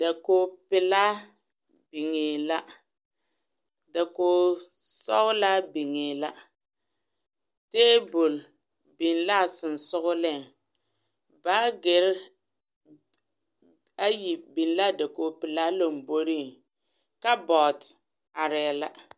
Da kogi pelaa biŋe la da kogi sɔglaa biŋe la tabol biŋ la sɔŋsɔŋle baakere ayi biŋ la a dakogi pelaa lomboriŋ kabɔɔte arɛɛ la.